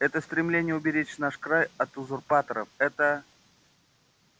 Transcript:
это стремление уберечь наш край от узурпаторов это